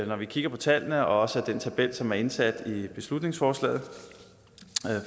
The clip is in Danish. når vi kigger på tallene og også af den tabel som er indsat i beslutningsforslaget